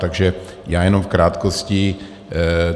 Takže já jenom v krátkosti.